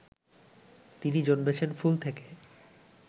তিনি জন্মেছেন ফুল থেকে